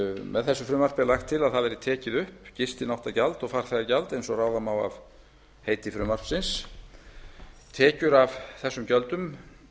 með þessu frumvarpi er lagt til að tekið verði upp gistináttagjald og farþegagjald eins og ráða má af heiti frumvarpsins tekjum af þessum gjöldum